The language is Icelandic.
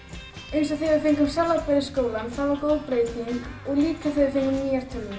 eins og þegar við fengum salatbar í skólann það var góð breyting og líka þegar við fengum nýjar tölvur